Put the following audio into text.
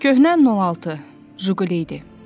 Köhnə 06, Zhiguli idi.